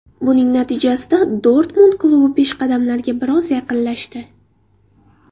Buning natijasida Dortmund klubi peshqadamlarga biroz yaqinlashdi.